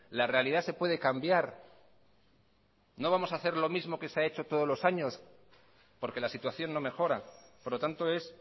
la realidad se puede cambiar no vamos a hacer lo mismo que se ha hecho todos los años porque la situación no mejora por lo tanto es